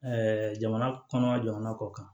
jamana kɔnɔ jamana kɔ kan